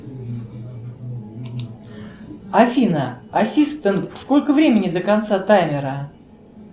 афина ассистент сколько времени до конца таймера